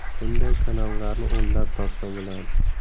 Bunday kanallarni o‘nlab topsa bo‘ladi.